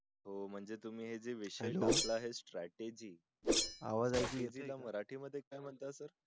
हो म्हणजे तुम्ही हे जे विषय हे लम्बला आहे society आवाज ऐकू येते का मराठी मध्ये